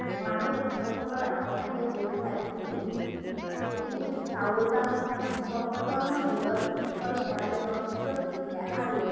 মানুহ অন্ন কুণ্ডৰ আশে পাখে গাট খাই ফুলি উঠি ফুলি উঠ চাউল বা পপকর্ণ যুগৰ শিখল পেলাই জনপ্ৰিয় গীত গাই আৰু